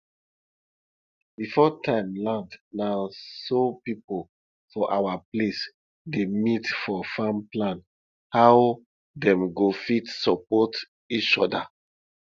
before time land na so people for our place dey meet for farm plan how dem go fit support each other